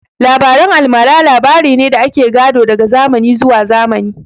Labaren almara labarai ne da ake gado daga zamani zuwa zamani